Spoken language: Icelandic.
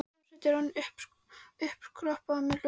Hljómsveitin var orðin uppiskroppa með lög.